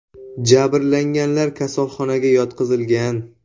Jabrlanganlar kasalxonaga yotqizilgan.